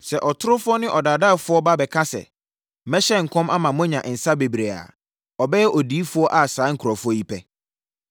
Sɛ ɔtorofoɔ ne ɔdaadaafoɔ ba bɛka sɛ, ‘Mɛhyɛ nkɔm ama moanya nsã bebree a’ ɔbɛyɛ odiyifoɔ a saa nkurɔfoɔ yi pɛ. Ɔgyeɛ Ho Bɔhyɛ